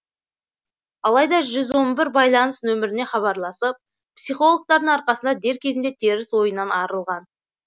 алайда жүз он бір байланыс нөміріне хабарласып психологтардың арқасында дер кезінде теріс ойынан арылған